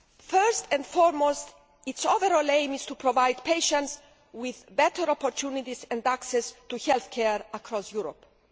First and foremost, its overall aim is to provide patients with better opportunities and access to health care across Europe.